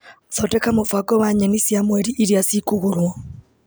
Thondeka mũbango wa nyeni cia mweri iria ci kũgũrwo.